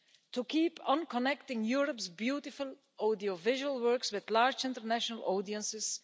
to keep on connecting Europe's beautiful audiovisual works with large international audiences